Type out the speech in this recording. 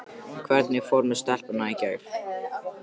Hvernig fór með stelpuna í gær?